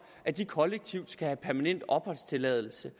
at de kollektivt skal have permanent opholdstilladelse